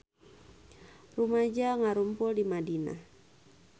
Rumaja ngarumpul di Madinah